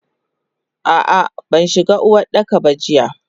Ah ah banshiga Uwardaka ba jiya.